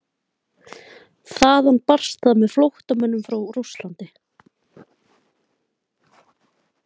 Þaðan barst það með flóttamönnum frá Rússlandi.